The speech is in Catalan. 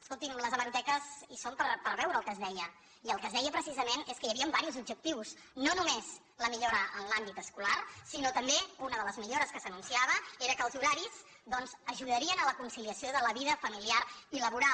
escolti’m les hemeroteques hi són per veure el que es deia i el que es deia precisament és que hi havien diversos objectius no només la millora en l’àmbit escolar sinó que també una de les millores que s’anunciava era que els horaris doncs ajudarien a la conciliació de la vida familiar i laboral